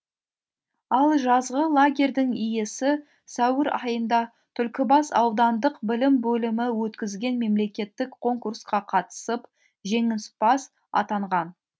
ал жазғы лагерьдің иесі сәуір айында түлкібас аудандық білім бөлімі өткізген мемлекеттік конкурсқа қатысып жеңімпаз атанған